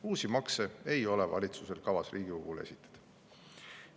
Uusi makse ei ole valitsusel kavas Riigikogule esitada.